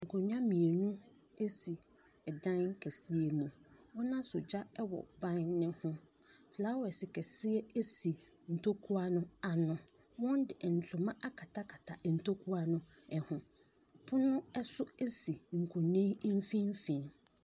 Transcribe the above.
Nkonnwa mmienu si dan kɛseɛ mu. Wɔasɔ gya wɔ ban no ho. Flowres kɛseɛ si ntokua no ano. Wɔde ntoma akatakata ntokua no ho. Pono nso si nkonnwa yi mfimfini.